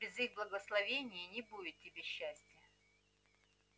без их благословения не будет тебе счастия